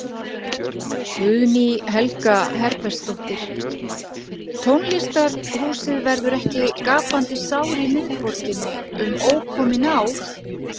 Guðný Helga Herbertsdóttir: Tónlistarhúsið verður ekki gapandi sár í miðborginni, um ókomin ár?